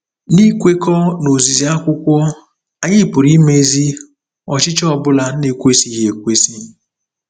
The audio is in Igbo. N'ikwekọ n'ozizi akwụkwọ, anyị pụrụ imezi ọchịchọ ọ bụla na-ekwesịghị ekwesị.